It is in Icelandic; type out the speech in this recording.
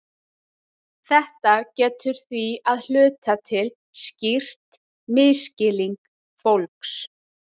Þetta getur því að hluta til skýrt misskilning fólks.